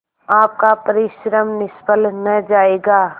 आपका परिश्रम निष्फल न जायगा